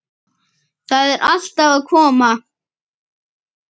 Það er allt að koma.